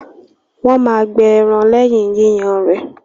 Wọ́n máa gbẹ ẹran lẹ́yìn Yíyan rẹ.